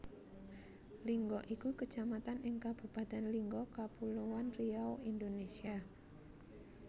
Lingga iku Kecamatan ing Kabupatèn Lingga Kapuloan Riau Indonesia